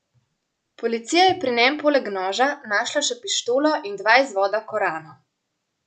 Policija je pri njem poleg noža našla še pištolo in dva izvoda Korana.